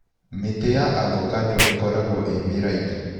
Mĩti ya avocado ĩkoragwo ĩ mĩraihu.